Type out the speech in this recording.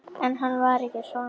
En hann var ekki svangur.